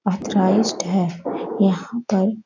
Authorised है यहां पर।